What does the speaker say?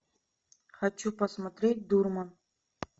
хочу посмотреть дурман